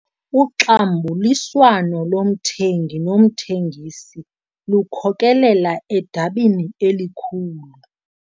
Uxambuliswano lomthengi nomthengisi lukhokelela edabini elikhulu.